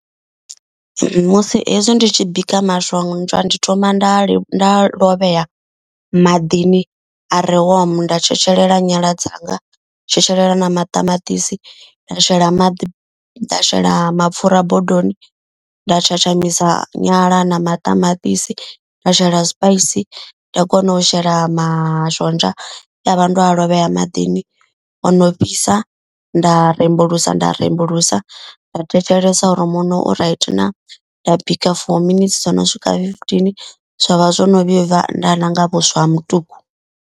Musi hezwi ndi tshi bika mashonzha ndi thoma nda nda lovhea maḓini a re warm. Nda tshetshelela nyala dzanga, tshetshelela na maṱamaṱisi nda shela maḓi nda shela mapfura bodoni. Nda tshatshamisa nyala na maṱamaṱisi nda shela sipaisi nda kona u shela mashonzha e avha ndo a lovhea maḓini ono fhisa. Nda rembulusa nda rembulusa nda thetshelesa uri muṋo u right na. Nda bika for minutes dzo no swika fifteen zwa vha zwo no vhibva nda ḽa nga vhuswa ha mutuku.